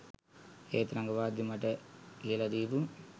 ඒත් රඟපාද්දි මට කියලා දීපු